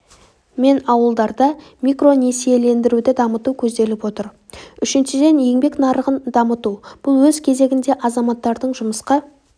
мен ауылдарда микронесиелендіруді дамыту көзделіп отыр үшіншіден еңбек нарығын дамыту бұл өз кезегінде азаматтардың жұмысқа